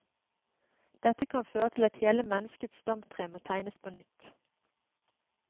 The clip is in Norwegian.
Dette kan føre til at hele menneskets stamtre må tegnes på nytt.